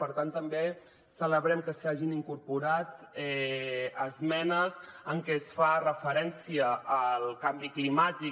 per tant també celebrem que s’hi hagin incorporat esmenes en què es fa referència al canvi climàtic